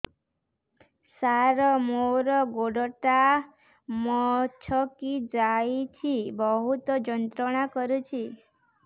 ସାର ମୋର ଗୋଡ ଟା ମଛକି ଯାଇଛି ବହୁତ ଯନ୍ତ୍ରଣା କରୁଛି